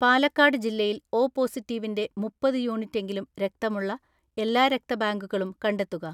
പാലക്കാട് ജില്ലയിൽ ഒ പോസിറ്റീവിൻ്റെ മുപ്പത് യൂണിറ്റെങ്കിലും രക്തമുള്ള എല്ലാ രക്തബാങ്കുകളും കണ്ടെത്തുക.